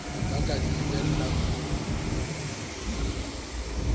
ba ka di lebellang ho